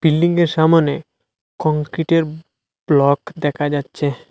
বিল্ডিংয়ের সামোনে কংক্রিটের ব্লক দেখা যাচ্ছে।